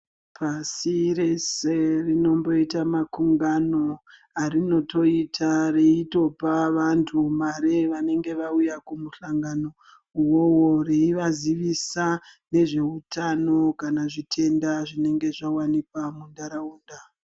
Pasi rese rinomboita makungano anoita achipa vantu mare vanenge vauya kumuhlangano veivasivisa Nezvehutano kana zvitenda zvinenge zvawanikwa mundaraunda.